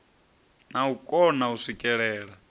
na u kona u swikelela